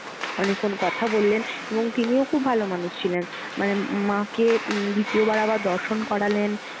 অনেকক্ষণ কথা বললেন এবং তিনিও খুব ভালো মানুষ ছিলেন। মানে ম~ মা কে উম দ্বিতীয়বার আবার দর্শন করালেন।